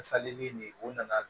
nin u nana